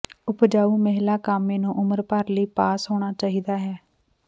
ਉਪਜਾਊ ਮਹਿਲਾ ਕਾਮੇ ਨੂੰ ਉਮਰ ਭਰ ਲਈ ਪਾਸ ਹੋਣਾ ਚਾਹੀਦਾ ਹੈ